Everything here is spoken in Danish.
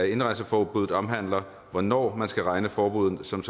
indrejseforbud omhandler hvornår man skal regne forbuddet som